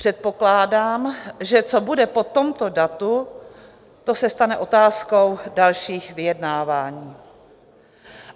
Předpokládám, že co bude po tomto datu, to se stane otázkou dalších vyjednávání.